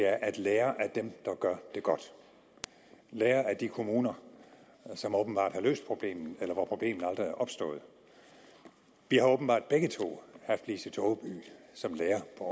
er at lære af dem der gør det godt at lære af de kommuner som åbenbart har løst problemet eller hvor problemet aldrig er opstået vi har åbenbart begge to haft lise togeby som lærer på